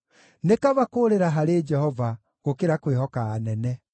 Nĩ kaba kũũrĩra harĩ Jehova, gũkĩra kwĩhoka anene.